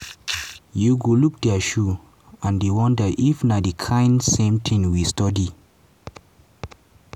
you go look dia shoe and dey wonder if na di kain same tin we study."